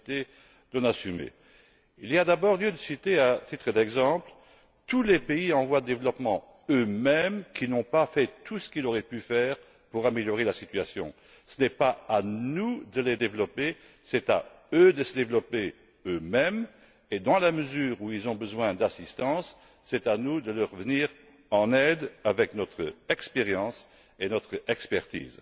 Il y a d'abord lieu de citer, à titre d'exemple, tous les pays en voie de développement, eux mêmes, qui n'ont pas fait tout ce qu'ils auraient pu faire pour améliorer la situation. Ce n'est pas à nous de les développer, c'est à eux de se développer eux mêmes et, dans la mesure où ils ont besoin d'assistance, c'est à nous de leur venir en aide avec notre expérience et notre expertise.